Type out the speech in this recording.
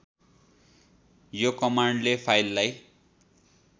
यो कमान्डले फाइललाई